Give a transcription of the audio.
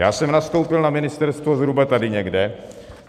Já jsem nastoupil na ministerstvo zhruba tady někde.